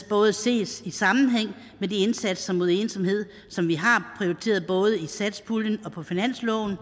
både ses i sammenhæng med de indsatser mod ensomhed som vi har prioriteret både i satspuljen og på finansloven